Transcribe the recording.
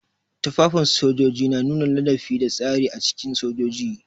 Tufafin sojoji na nuna ladabi da tsari a cikin sojoji.